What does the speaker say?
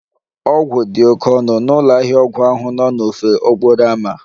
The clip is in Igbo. Ọgwụ dị oke ọnụ n'ụlọ ahịa ọgwụ ahụ n'ofe okporo ámá